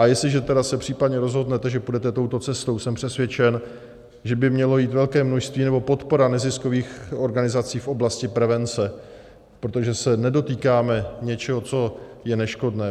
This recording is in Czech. A jestliže tedy se případně rozhodnete, že půjdete touto cestou, jsem přesvědčen, že by mělo jít velké množství nebo podpora neziskových organizací v oblasti prevence, protože se nedotýkáme něčeho, co je neškodné.